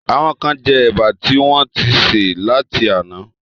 Àwọn kán jẹ Ẹ̀bà tí wọ́n ń ti sè láti àná